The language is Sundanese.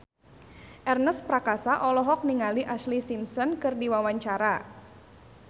Ernest Prakasa olohok ningali Ashlee Simpson keur diwawancara